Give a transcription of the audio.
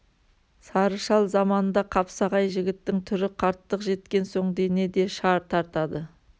сары шал заманында қапсағай жігіттің түрі қарттық жеткен соң дене де шар тартады